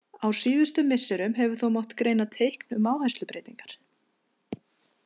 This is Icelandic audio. Á síðustu misserum hefur þó mátt greina teikn um áherslubreytingar.